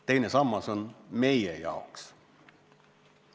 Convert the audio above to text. Teine sammas on meie jaoks.